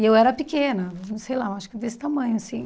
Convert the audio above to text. E eu era pequena, não sei lá, acho que desse tamanho, assim.